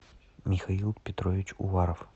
михаил петрович уваров